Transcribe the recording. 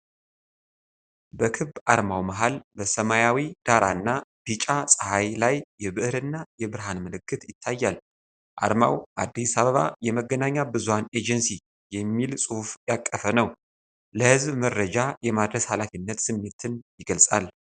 በክብ አርማው መሃል፣ በሰማያዊ ዳራና ቢጫ ፀሐይ ላይ የብዕርና የብርሃን ምልክት ይታያል። አርማው "አዲስ አበባ የመገናኛ ብዙኃን ኤጀንሲ" የሚል ጽሑፍ ያቀፈ ነው፣ ለሕዝብ መረጃ የማድረስ ኃላፊነት ስሜትን ይገልጻል።